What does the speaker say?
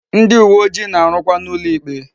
Ndi uwe ojii na-arukwa n'ulo ikpe